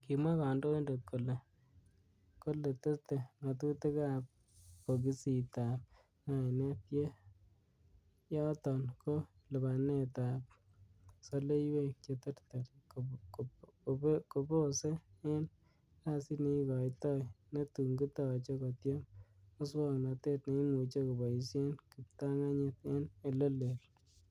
Kimwa kandoinatet kole, kole tete ngatutikab bokisitab ngainet, yen yoton ko lipanet ab soleiwek cheterter kebose en kasit neikoitoi, netun kitoche kotiem muswognotet neimuche koboishen kiptarganyit en ele leel.